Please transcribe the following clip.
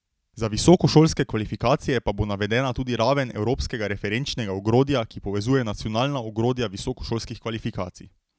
Za visokošolske kvalifikacije pa bo navedena tudi raven evropskega referenčnega ogrodja, ki povezuje nacionalna ogrodja visokošolskih kvalifikacij.